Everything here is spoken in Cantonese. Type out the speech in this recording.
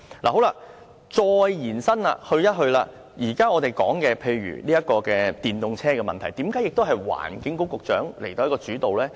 我再延伸說說，我們現在說的電動車問題，為何應該由環境局局長主導呢？